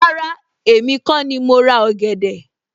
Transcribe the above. Rárá, èmi kó ni mo ra ọ̀gẹ̀dẹ̀